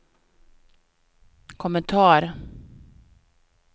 kommentar